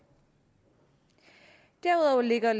derudover lægger